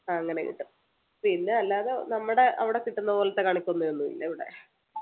അങ്ങനെ കിട്ടും പിന്നെ അല്ലാതെ നമ്മുടെ അവിടെ കിട്ടുന്ന പോലത്തെ കണിക്കൊന്നയൊന്നുമില്ല ഇവിടെ